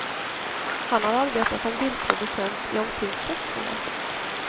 Han har arbetat som bildproducent i omkring sex år.